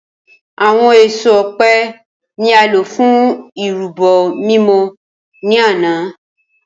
Awọn eso ọpẹ ni a lo fun irubo mimọ ni ana.